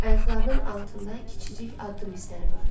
Ayaqlarının altında kiçicik addım izləri vardı.